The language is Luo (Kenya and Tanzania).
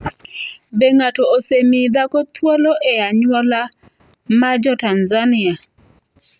Be ng’ato osemi dhako thuolo e anyuola mar Jo-Tanzania?